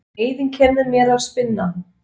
Og neyðin kennir mér að spinna.